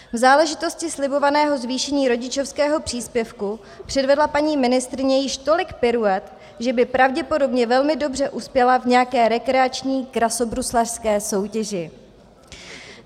V záležitosti slibovaného zvýšení rodičovského příspěvku předvedla paní ministryně již tolik piruet, že by pravděpodobně velmi dobře uspěla v nějaké rekreační krasobruslařské soutěži.